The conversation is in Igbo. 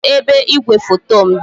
Kedu ebe igwefoto m dị?